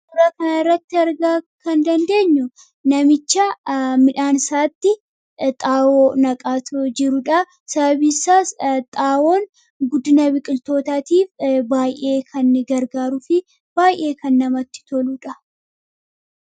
Suuraa kanarratti arguu kan dandeenyu namicha midhaan isaatti xaa'oo naqaa jirudha. Sababni isaas xaa'oon guddina biqiltootaaf baay'ee kan gargaaruu fi baay'ee kan namatti toludha.